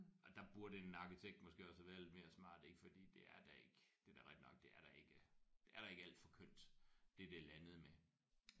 Og der burde en arkitekt måske også have været lidt mere smart ik fordi det er da ikke det er da rigtigt nok det er da ikke det er da ikke alt for kønt det der er landet med